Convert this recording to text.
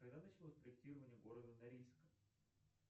когда началось проектирование города норильска